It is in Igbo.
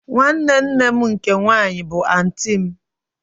Nwanne nne m nke nwanyị bụ anti m